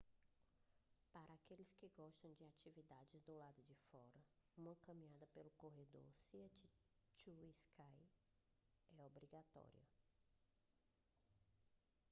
para aqueles que gostam de atividades do lado de fora uma caminhada pelo corredor sea to sky é obrigatória